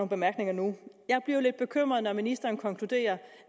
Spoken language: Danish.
bemærkninger nu jeg bliver lidt bekymret når ministeren konkluderer